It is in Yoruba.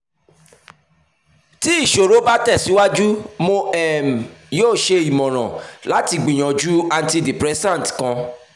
ti iṣoro ba tẹsiwaju mo um yoo ṣe imọran lati gbiyanju antidepressant kan